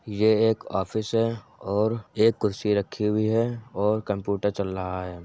ये एक ऑफिस है और एक कुर्सी रखी हुई है और कंप्युटर चल रहा है।